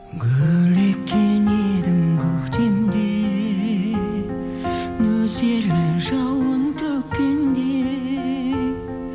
гүл еккен едім көктемде нөсерін жауын төккенде